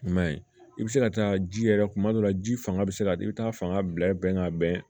I man ye i bɛ se ka taa ji yɛrɛ kuma dɔ la ji fanga bɛ se ka i bɛ taa fanga bila i bɛ bɛn ka bɛn